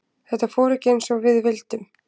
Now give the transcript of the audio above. Þetta fór ekki eins og við vildum.